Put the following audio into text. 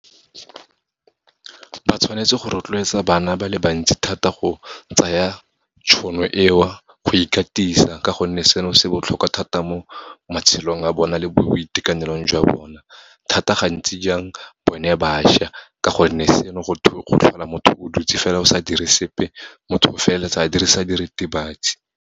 Ba tshwanetse go rotloetsa bana ba le bantsi thata go tsaya tšhono eo go ikatisa, ka gonne seno se botlhokwa thata mo matshelong a bona, le mo boitekanelong jwa bona, thata gantsi jang bone bašwa, ka gonne seno go tlhola motho o dutse fela o sa dire sepe, motho o feleletsa a dirisa diritibatsi.